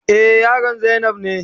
Eh, yaron zainab ne.